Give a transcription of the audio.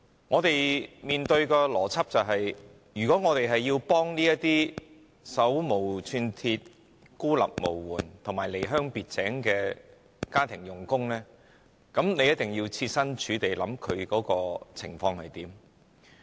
我們面對的邏輯是，如果我們要幫助這些手無寸鐵、孤立無援和離鄉別井的家庭傭工，便必須切身處地考慮他們的情況。